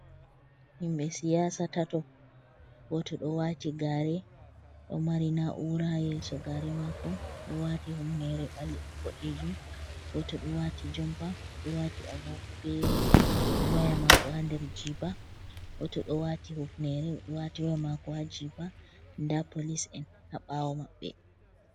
Himɓe siyasa tato. Goto ɗo wati gare ɗo mari na'ura ha yeso gare mako oɗo wati humnere boɗejum. Goto ɗo wati jompa oɗo wati agogo be waya mako ha nder jiba. Goto ɗo wati hufnere wati waya mako ha nder jiba, nda polis en ha bawo maɓɓe.